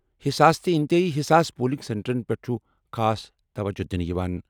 حساس تہٕ انتہٲئی حساس پولنگ سینٹرن پٮ۪ٹھ چھُ خاص توجہ دِنہٕ یِوان۔